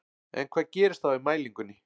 En hvað gerist þá í mælingunni?